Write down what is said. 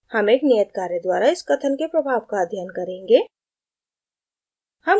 हम एक नियत कार्य द्वारा इस कथन के प्रभाव का अध्ययन करेंगे